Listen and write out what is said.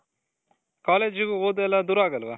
college ಓದು ಎಲ್ಲಾ ದೂರ ಆಗಲ್ವ